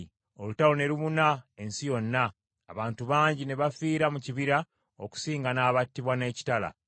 Olutalo ne lubuna ensi yonna, abantu bangi ne bafiira mu kibira okusinga n’abattibwa n’ekitala.